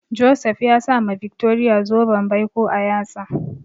Joseph ya sa ma Victoria zoben baiko a yatsa.